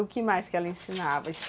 O que mais que ela ensinava?